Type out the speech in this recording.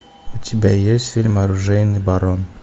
у тебя есть фильм оружейный барон